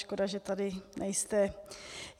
Škoda, že tady nejste.